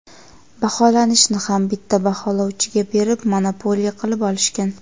Baholashni ham bitta baholovchiga berib, monopoliya qilib olishgan.